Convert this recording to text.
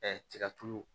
tiga tulu